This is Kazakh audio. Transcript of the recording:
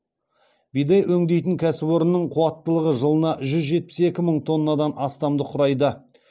бидай өңдейтін кәсіпорынның қуаттылығы жылына жүз жетпіс екі мың тоннадан астамды құрайды